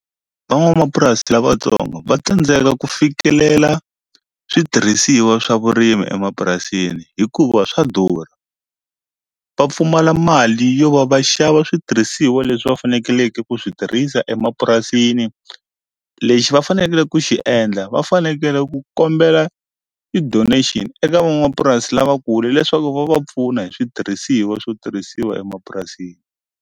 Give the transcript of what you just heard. Van'wamapurasi lavatsongo va tsandzeka ku fikelela switirhisiwa swa vurimi emapurasini hikuva swa durha va pfumala mali yo va va xava switirhisiwa leswi va fanekeleke ku swi tirhisa emapurasini lexi va fanekele ku xi endla va fanekele ku kombela ti-donation eka van'wamapurasi lavakulu leswaku va va pfuna hi switirhisiwa swo tirhisiwa emapurasini.